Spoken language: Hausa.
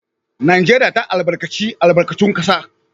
Najeriya ta albarkaci albarkatun kasa